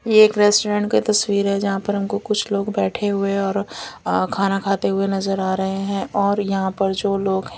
ये एक रेस्टोरेंट की तस्वीर है जहां पर हमको कुछ लोग बैठे हुए और खाना खाते हुए नजर आ रहे हैं और यहां पर जो लोग हैं--